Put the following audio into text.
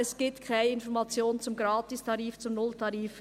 Es gibt keine Information zum Gratistarif, zum Nulltarif.